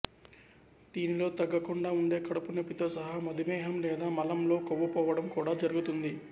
దీనిలో తగ్గకుండా ఉండే కడుపు నొప్పితో సహా మధుమేహం లేదా మలంలో కొవ్వు పోవడం కూడా జరుగుతుంది